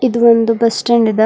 ಇದು ಒಂದು bus stand ಅದ.